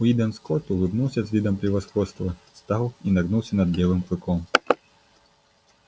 уидон скотт улыбнулся с видом превосходства встал и нагнулся над белым клыком